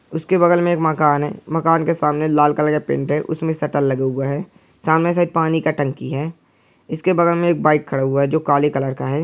इसके बगल मे एक मकान है मकान के सामने लाल कलर का पेंट है उसमे शटर लगे हुए है सामने से पानी का टंकी है इसके बगल मे एक बाइक खड़ा हुआ है जो काले कलर का है।